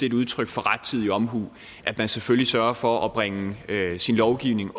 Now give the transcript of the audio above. et udtryk for rettidig omhu at man selvfølgelig sørger for at bringe sin lovgivning